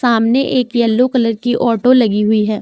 हमने एक yellow colour की ऑटो लगी हुई है।